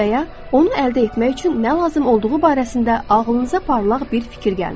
Və ya, onu əldə etmək üçün nə lazım olduğu barəsində ağlınıza parlaq bir fikir gəlmişdi.